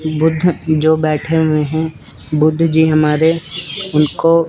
बुद्ध जो बैठे हुए है बुद्ध जी हमारे उनको--